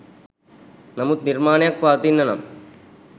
නමුත් නිර්මාණයක් පවතින්න නම්